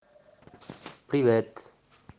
привет